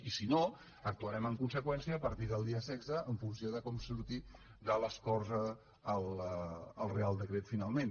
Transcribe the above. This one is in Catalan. i si no actuarem en conseqüència a partir del dia setze en funció de com surti de les corts el reial decret finalment